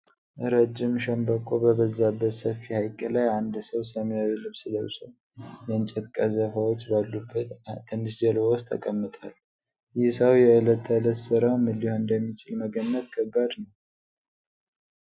ረጅም ሸምበቆ በበዛበት ሰፊ ሐይቅ ላይ አንድ ሰው ሰማያዊ ልብስ ለብሶ፣ የእንጨት ቀዘፋዎች ባሉበት ትንሽ ጀልባ ውስጥ ተቀምጧል። ይህ ሰው የዕለት ተዕለት ሥራው ምን ሊሆን እንደሚችል መገመት ከባድ ነውን?